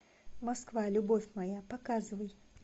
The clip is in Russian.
москва любовь моя показывай